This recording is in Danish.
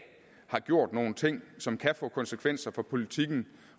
har gjort nogle ting som kan få konsekvenser for politikken